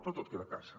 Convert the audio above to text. però tot queda a casa